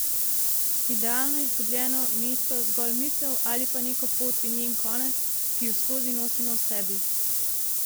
Idealno izgubljeno mesto, zgolj misel, ali pa neko pot in njen konec, ki ju skozi nosimo v sebi?